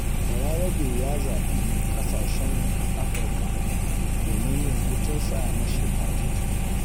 Balarabe ya zaɓi ƙasashen Afirka domin yin hutunsa na shekara.